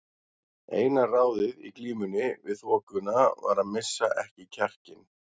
Eina ráðið í glímunni við þokuna var að missa ekki kjarkinn.